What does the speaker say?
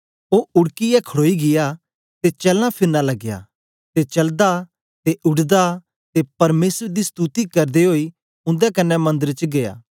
ओ उड़कीयै खड़ोई गीया ते चलनाफिरना लगया ते चलदा ते उड़दा ते परमेसर दी सतुति करदे ओई उन्दे कन्ने मंदर दे च गीया